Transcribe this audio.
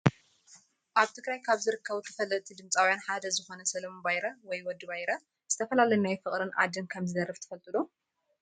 ኣብ ትግራይ ካብ ዝርከቡ ተፈለጢ ድምፃዊያን ሓደ ዝኮነ ሰለሞን ባይረ /ወዲ ባይረ/ ዝተፈላለዩ ናይ ፍቅርን ዓድን ከም ዝደርፍ ትፈልጡ ዶ?